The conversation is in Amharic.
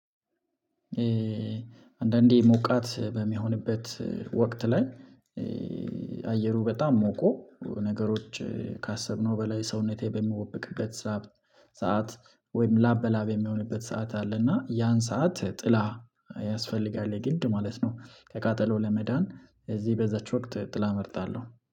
አንዳንዴ ሞቃት በሚሆንበት ወቅት ላይ አየሩ በጣም ሞቆ ነገሮች ካሰብነው በላይ ሰውነቴ በሚሞቅበት ሰዓት ሰዓት ወይም ላብ በላብ የሚሆንበት ሰዓት አለ እና ያን ሰዓት ጥላ ያስፈልጋል የግድ ማለት ነው። ከቃጠሎ ለመዳን እዚህ በዛች ወቅት ጥላ እመርጣለው።